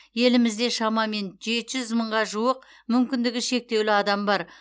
елімізде шамамен жеті жүз мыңға жуық мүмкіндігі шектеулі адам бар